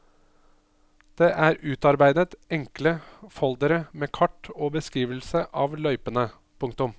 Det er utarbeidet enkle foldere med kart og beskrivelse av løypene. punktum